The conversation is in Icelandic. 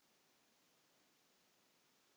Dagar fjórtán